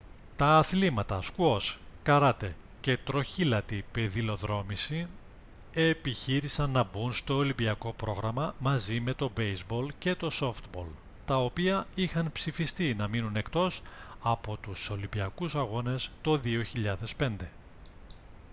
τα αθλήματα σκουός καράτε και τροχήλατη πεδιλοδρόμηση επιχείρησαν να μπουν στο ολυμπιακό πρόγραμμα μαζί με το μπέηζμπολ και το σόφτμπολ τα οποία είχαν ψηφιστεί να μείνουν εκτός από τους ολυμπιακούς αγώνες το 2005